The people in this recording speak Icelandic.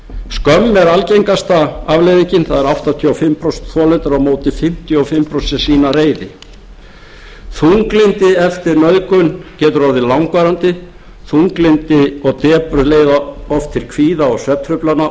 skömm er algengasta afleiðingin það eru áttatíu og fimm prósent þolenda á móti fimmtíu og fimm prósent sem sýna reiði þunglyndi eftir nauðgun getur orðið langvarandi þunglyndi og depurð leiða oft til kvíða og svefntruflana